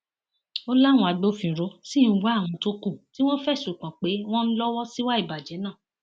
ó láwọn agbófinró sì ń wá àwọn tó kù tí wọn fẹsùn kàn pé wọn ń lọwọ síwá ìbàjẹ náà